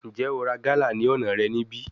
Njẹ o ra gala ni ọna rẹ nibi?